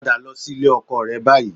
Padà sí ilé ọkọ rẹ báyìí